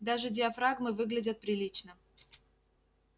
даже диафрагмы выглядят прилично